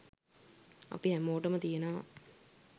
අපි හැමෝටම තියෙනවා.